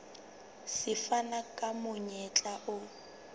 se fana ka monyetla o